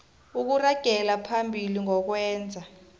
ukuragela phambili nokwenza